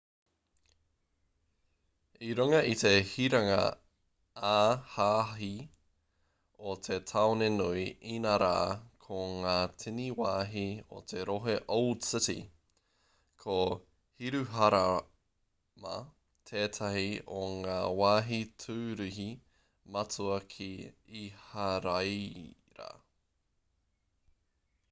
i runga i te hiranga ā-hāhi o te tāone nui inarā ko ngā tini wāhi o te rohe old city ko hiruharama tētahi o ngā wāhi tūruhi matua ki iharaira